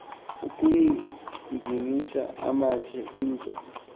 ukuginyisa amathe into